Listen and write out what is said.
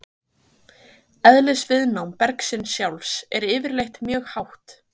Eðlisviðnám bergsins sjálfs er yfirleitt mjög hátt.